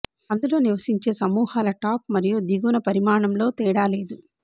అందులో నివశించే సమూహాల టాప్ మరియు దిగువన పరిమాణం లో తేడా లేదు